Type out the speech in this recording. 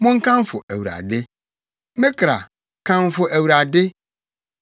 Monkamfo Awurade. Me kra, kamfo Awurade!